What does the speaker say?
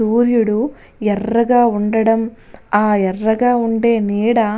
సూర్యుడు ఎర్రగా ఉండడం ఆ ఎర్రగా ఉండే నీడ --